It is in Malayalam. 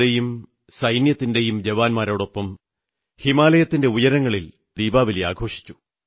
യുടെയും സൈന്യത്തിന്റെയും ജവാന്മാരോടൊപ്പം ഹിമാലയത്തിന്റെ ഉയരങ്ങളിൽ ദീപാവലി ആഘോഷിച്ചു